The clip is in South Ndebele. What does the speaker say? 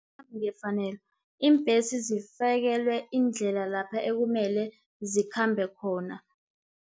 ngefanelo, iimbhesi zifakelwe indlela laphe ekumele zikhambe khona.